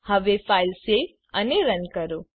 હવે file save અને run કરો